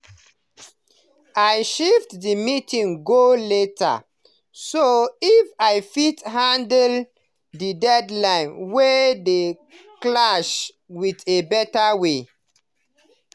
i shift the meeting go later so i fit handle the deadlines wey dey clash in a better way.